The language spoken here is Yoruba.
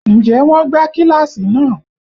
Ǹjẹ́ wọn gbá kíláàsì náà?